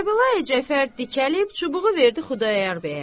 Kərbəlayi Cəfər dikəlib çubuğu verdi Xudayar bəyə.